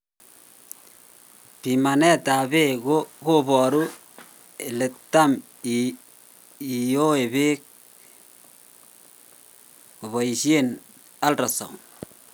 Pimanet ab bek ko boru ele tam iyoe bek kobaishien ultrasound